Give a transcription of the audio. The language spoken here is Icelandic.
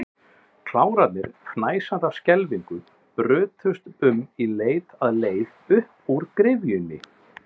Klárarnir, fnæsandi af skelfingu, brutust um í leit að leið upp úr gryfjunni.